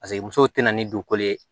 Paseke muso tɛna ni dukolo ye